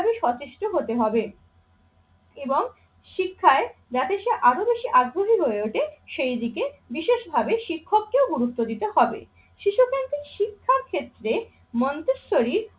ভাবে সচেষ্ট হতে হবে এবং শিক্ষায় যাতে সে আরো বেশি আগ্রহী হয়ে ওঠে, সেই দিকে বিশেষভাবে শিক্ষককেও গুরুত্ব দিতে হবে। শিশুকেন্দ্রিক শিক্ষার ক্ষেত্রে মন্তেশ্বরী